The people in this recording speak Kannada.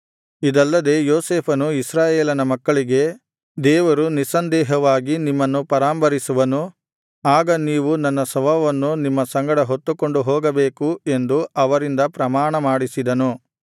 ಇದಲ್ಲದೆ ಯೋಸೇಫನು ಇಸ್ರಾಯೇಲನ ಮಕ್ಕಳಿಗೆ ದೇವರು ನಿಸ್ಸಂದೇಹವಾಗಿ ನಿಮ್ಮನ್ನು ಪರಾಂಬರಿಸುವನು ಆಗ ನೀವು ನನ್ನ ಶವವನ್ನು ನಿಮ್ಮ ಸಂಗಡ ಹೊತ್ತುಕೊಂಡು ಹೋಗಬೇಕು ಎಂದು ಅವರಿಂದ ಪ್ರಮಾಣಮಾಡಿಸಿದನು